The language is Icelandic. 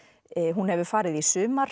hún hefur farið í